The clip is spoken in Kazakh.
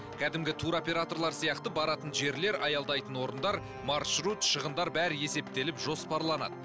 кәдімгі туроператорлар сияқты баратын жерлер аялдайтын орындар маршрут шығындар бәрі есептеліп жоспарланады